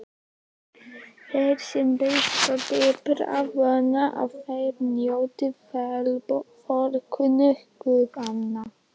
Þeir sem rista dýpra vona að þeir njóti velþóknunar guðanna.